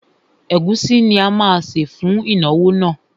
Ẹ̀gúsí ni a má sè fún ìnáwó náà.